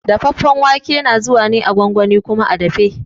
Dafaffen wake na zuwa ne a gwangwani kuma a dafe.